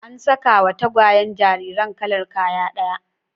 An sakawa tagwayen jariran kalar kaya ɗaya